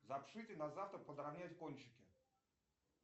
запишите на завтра подравнять кончики